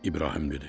İbrahim dedi: